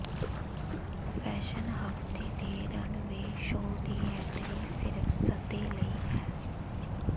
fashion ਹਫਤੇ ਦੇ runway show ਦੀ ਐਂਟਰੀ ਸਿਰਫ ਸੱਦੇ ਲਈ ਹੈ